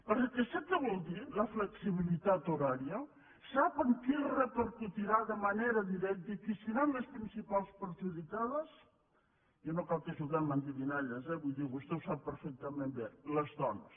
perquè sap què vol dir la flexibilitat horària sap en qui repercutirà de manera directa i qui seran les principals perjudicades i no cal que juguem a endevinalles vull dir vostè ho sap perfectament bé les dones